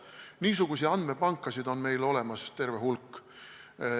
Ja niisuguseid andmepankasid on meil olemas terve hulk.